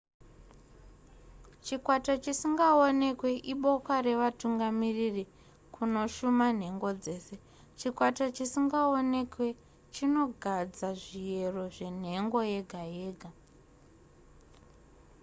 chikwata chisingaonekwe iboka revatungamiriri kunoshuma nhengo dzese chikwata chisingaonekwe chinogadza zviyero zvenhengo yega yega